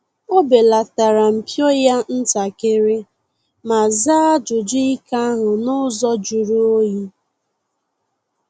Ọ belatara mpio ya ntakịrị ma zaa ajụjụ ike ahu n’ụzọ juru onyi